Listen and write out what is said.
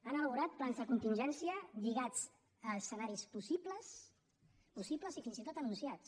han elaborat plans de contingència lligats a escenaris possibles possibles i fins i tot anunciats